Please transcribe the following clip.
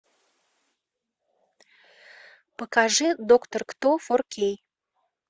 покажи доктор кто фор кей